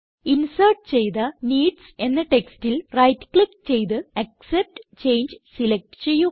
insert ചെയ്ത needs എന്ന ടെക്സ്റ്റിൽ റൈറ്റ് ക്ലിക്ക് ചെയ്ത് ആക്സെപ്റ്റ് ചങ്ങെ സിലക്റ്റ് ചെയ്യുക